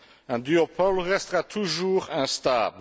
Un duopole restera toujours instable.